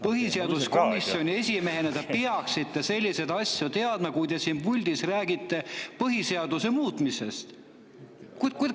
Põhiseaduskomisjoni esimehena te peaksite selliseid asju teadma, kui te räägite siin puldis põhiseaduse muutmisest.